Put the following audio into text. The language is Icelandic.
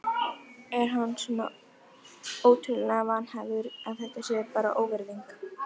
Er hann svona ótrúlega vanhæfur að þetta sé bara óvirðing?